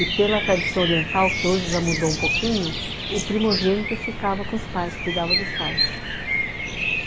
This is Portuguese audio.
E pela tradição oriental, que hoje já mudou um pouquinho, o primogênito ficava com os pais, cuidava dos pais.